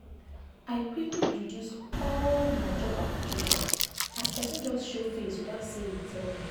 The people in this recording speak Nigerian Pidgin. i quick quick reduce all reduce all my job applications as person just show face without say he tell me.